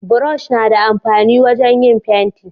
burosh na da amfani wajen yin fenti